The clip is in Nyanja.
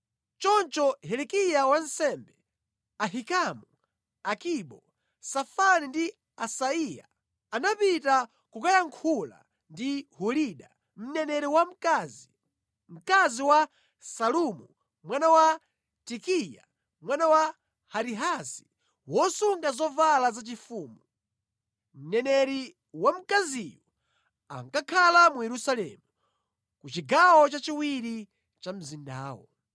Choncho Hilikiya wansembe, Ahikamu, Akibo, Safani ndi Asaiya anapita kukayankhula ndi Hulida, mneneri wamkazi, mkazi wa Salumu mwana wa Tikiva, mwana wa Harihasi, wosunga zovala zaufumu. Mneneri wamkaziyu ankakhala mu Yerusalemu, ku chigawo chachiwiri cha mzindawo.